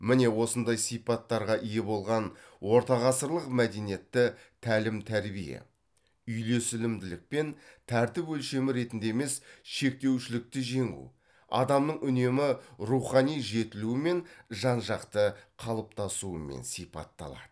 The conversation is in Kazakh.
міне осындай сипаттарға ие болған ортағасырлық мәдениетті тәлім тәрбие үйлесімділік пен тәртіп өлшемі ретінде емес шектеушілікті жеңу адамның үнемі рухани жетілуі мен жан жақты қалыптасуымен сипатталады